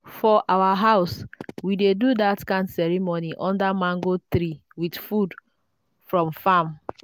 for our house we dey do that kind ceremony under mango tree with food from farm.